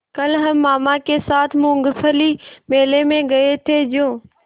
कल हम मामा के साथ मूँगफली मेले में गए थे जो